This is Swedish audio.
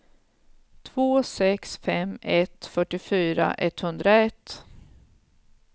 två sex fem ett fyrtiofyra etthundraett